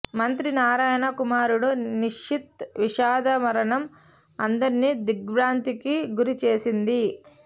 మంత్రి నారాయణ కుమారుడు నిషిత్ విషాద మరణం అందరినీ దిగ్భ్రాంతికి గురి చేసింది